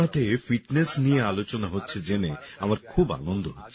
মনকিবাতে fitness নিয়ে আলোচনা হচ্ছে জেনে আমার খুব আনন্দ হচ্ছে